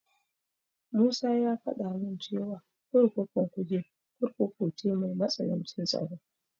Musa ya faɗa min cewa kurkukun Kuje Kurkuku ce mai matsanancin tsaro.